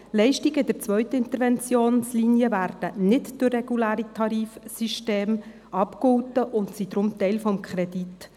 – Leistungen der zweiten Interventionslinie werden nicht durch reguläre Tarifsysteme abgegolten und sind deshalb Teil des Kredits.